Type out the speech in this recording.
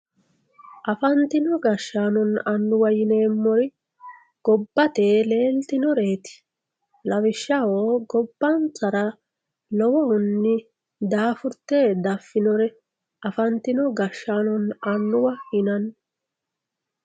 Afantinno gashanonna annuwa yineemori gabbate leelitinoreti lawishaho gobbansara lowohunni daafurite dafinore afantino gashanonna annuwa yinanni